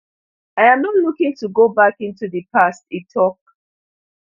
i am not looking to go back into di past e tok